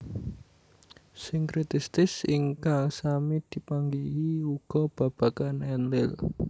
Sinkritistis ingkang sami dipanggihi uga babagan Enlil